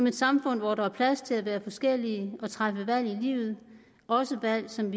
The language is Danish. et samfund hvor der er plads til at være forskellige og træffe valg i livet også valg som